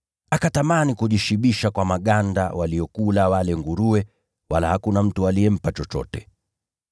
Akatamani kujishibisha kwa maganda waliyokula wale nguruwe, wala hakuna mtu aliyempa chochote.